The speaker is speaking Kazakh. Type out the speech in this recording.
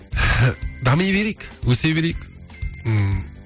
дами берейік өсе берейік ммм